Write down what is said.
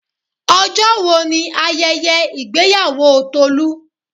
Ọjọ́ wo ni ayẹyẹ ìgbéyàwó Tolu?